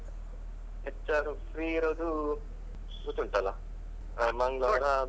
ಅಂದ್ರೆ ಅವ್ರದ್ದೂ HR free ಇರೋದು ಗೊತ್ತುಂಟಲ್ಲ ಆ ಮಂಗಳವಾರ.